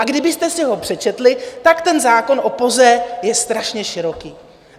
A kdybyste si ho přečetli, tak ten zákon o POZE je strašně široký.